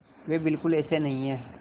वे बिल्कुल ऐसे नहीं हैं